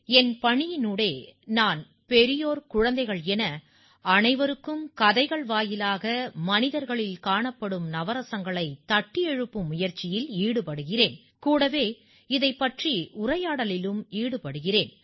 என் பணியினூடே நான் பெரியோர்குழந்தைகள் என அனைவருக்கும் கதைகள் வாயிலாக மனிதர்களில் காணப்படும் நவரசங்களைத் தட்டி எழுப்பும் முயற்சியில் ஈடுபடுகிறேன் கூடவே இதைப் பற்றி உரையாடலிலும் ஈடுபடுகிறேன்